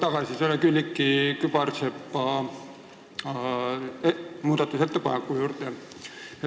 Ma tulen tagasi Külliki Kübarsepa muudatusettepaneku juurde.